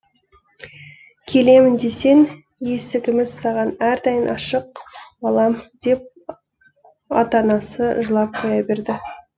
келемін десең есігіміз саған әрдайым ашық балам деп отанасы жылап қоя берді